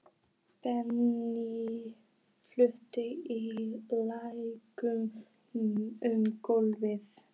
Bensín flaut í lækjum um gólfið.